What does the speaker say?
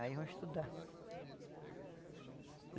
Aí vão estudar.